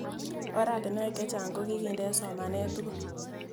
Oratinwek chechang' ko kikinde eng' somanet tugul